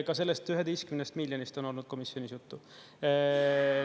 Ka sellest 11-st miljonist on olnud komisjonis juttu.